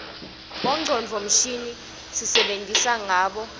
bongcondvo mshini sisebenta ngabo